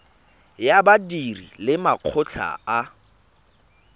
ya badiri le makgotla a